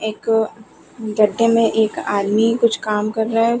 एक गड्ढे में एक आदमी कुछ काम कर रहा है।